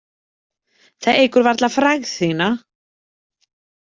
Það eykur varla frægð þína.